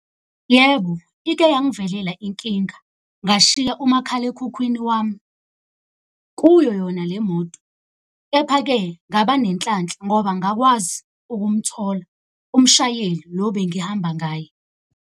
Yebo, ike yangivelela inkinga ngashiya umakhalekhukhwini wami kuyo yona le moto. Kepha-ke ngaba nenhlanhla ngoba ngakwazi ukumthola umshayeli lo bengihamba ngaye.